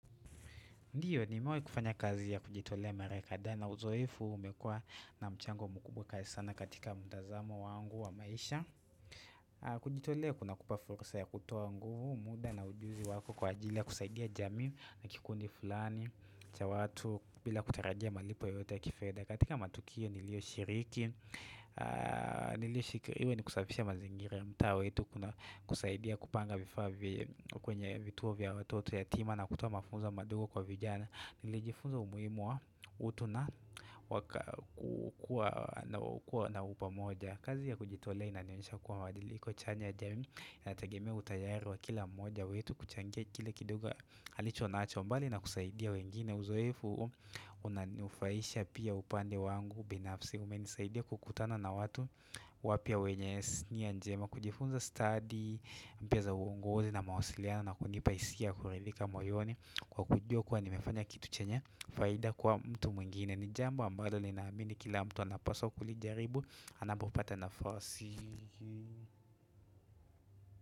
Ndiyo nimewahi kufanya kazi ya kujitolea mara kadhaa na uzoefu umekuwa na mchango mkubwa kabisa katika mtazamo wangu wa maisha. Kujitolea kuna kupa fursa ya kutoa nguvu, muda na ujuzi wako kwa ajili ya kusaidia jamii na kikundi fulani cha watu bila kutarajia malipo yote ya kifedha. Katika matukio nilioshiriki, nilioshikiri ni kusafisha mazingira mtaa wetu kuna kusaidia kupanga vifaa kwenye vituo vya watoto yatima na kutoa mafunzo madogo kwa vijana. Nilijifunza umuhimu wa utu na waka kukua na upamoja kazi ya kujitolea inanionyesha kuwa mwadili kwa chanya ya jamii inategemea utayari wa kila mmoja wetu kuchangia kila kidogo alicho nacho bali na kusaidia wengine uzoefu unanufaisha pia upande wangu binafsi umenisaidia kukutana na watu wapya wenye nia njema kujifunza stadi mpya za uongozi na mawasiliano na kunipa hisia ya kuridhika moyoni kwa kujua kuwa nimefanya kitu chenye faida kwa mtu mwingine ni jambo ambalo ninaamini kila mtu anapaswa kulijaribu anapopata nafasi.